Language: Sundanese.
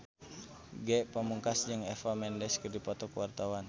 Ge Pamungkas jeung Eva Mendes keur dipoto ku wartawan